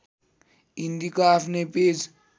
हिन्दीको आफ्नै पेज